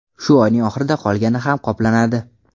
Shu oyning oxirida qolgani ham qoplanadi.